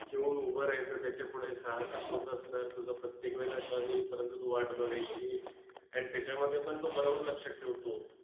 घेऊन उभं राहायचं, त्याच्यापुढे सहा सात लोकं असणार, तुझा प्रत्येकवेळेला turn येईपर्यंत तू वाट बघायची आणि त्याच्यामध्ये पण तो बरोबर लक्षात ठेवतो.